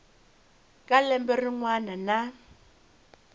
ka lembe rin wana na